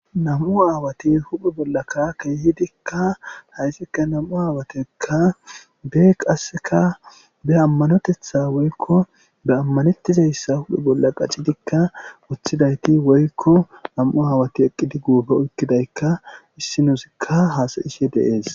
Nam'u aawati huphe bolla kaa keehidikka haysikka nam'u aawatekka bee qasseka be ammanotetha woykko be ammanettizayssa huphe bolla qacidikka woththidayti woykko nam'u aawati eqqidi guupo oykkidaykka issi nuusikka haasayishe dees.